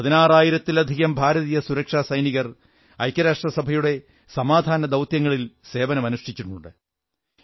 പതിനാറായിരത്തത്തിലധികം ഭാരതീയ സുരക്ഷാസൈനികർ ഐക്യരാഷ്ട്രസഭയുടെ സമാധാന ദൌത്യങ്ങളിൽ സേവനമനുഷ്ഠിച്ചിട്ടുണ്ട്